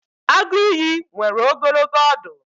Agụ ìyì nwere ogologo ọdụ.